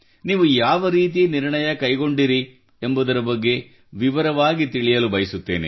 ನೀವು ಯಾವ ರೀತಿ ನಿರ್ಣಯ ಕೈಗೊಂಡಿರಿ ಎಂಬುದರ ಬಗ್ಗೆ ವಿವರವಾಗಿ ತಿಳಿಯಬಯಸುತ್ತೇನೆ